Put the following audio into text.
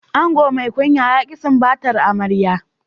Ango mai kunya ya ki sumbatar amarya.